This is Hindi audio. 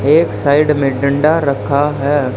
एक साइड में डंडा रखा है।